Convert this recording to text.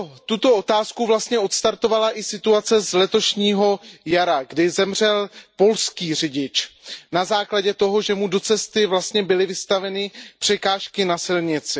Tuto otázku vlastně odstartovala i situace z letošního jara, kdy zemřel polský řidič na základě toho, že mu do cesty byly vstaveny překážky na silnici.